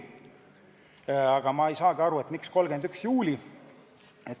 Aga ma ei saa aru, miks just 31. juuli.